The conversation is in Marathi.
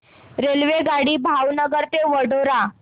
रेल्वेगाडी भावनगर ते वडोदरा